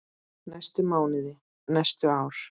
næstu mánuði, næstu ár.